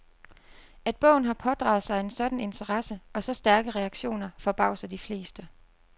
At bogen har pådraget sig en sådan interesse og så stærke reaktioner forbavser de fleste.